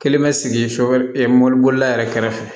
Kelen bɛ sigi so wɛrɛ mɔbili bolila yɛrɛ kɛrɛfɛ